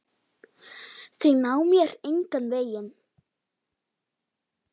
Þau ná mér engan veginn.